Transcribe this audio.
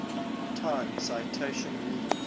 time citation needed